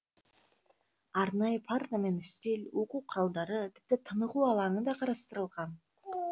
арнайы парта мен үстел оқу құралдары тіпті тынығу алаңы да қарастырылған